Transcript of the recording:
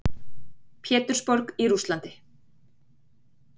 Pétursborg í Rússlandi.